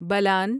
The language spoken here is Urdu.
بلان